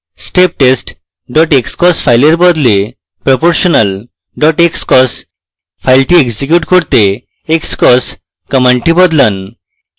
steptest xcos file বদলে proportional xcos file execute করতে xcos command বদলান